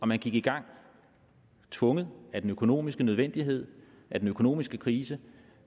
man gik i gang tvunget af den økonomiske nødvendighed af den økonomiske krise